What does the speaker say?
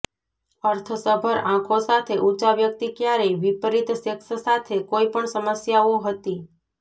અર્થસભર આંખો સાથે ઊંચા વ્યક્તિ ક્યારેય વિપરીત સેક્સ સાથે કોઇપણ સમસ્યાઓ હતી